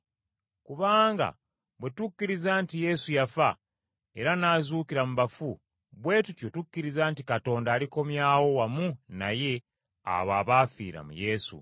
Kubanga bwe tukkiriza nti Yesu yafa era n’azuukira mu bafu bwe tutyo tukkiriza nti Katonda alikomyawo wamu naye abo abaafira mu Yesu.